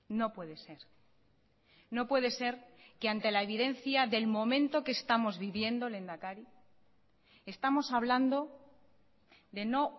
no puede ser no puede ser que ante la evidencia del momento que estamos viviendo lehendakari estamos hablando de no